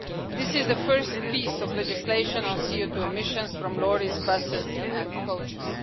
This is the first piece of legislation on CO2 emissions from lorries, buses and coaches.